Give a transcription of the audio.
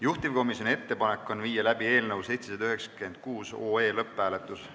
Juhtivkomisjoni ettepanek on viia läbi eelnõu 796 lõpphääletus.